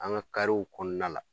An ka karew kɔnɔna la.